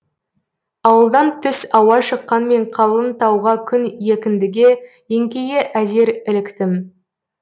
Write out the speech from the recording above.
ауылдан түс ауа шыққан мен қалың тауға күн екіндіге еңкейе әзер іліктім